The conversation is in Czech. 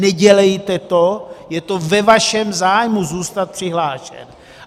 Nedělejte to, je to ve vašem zájmu zůstat přihlášen.